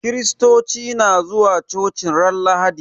Kiristoci na zuwa coci ran lahadi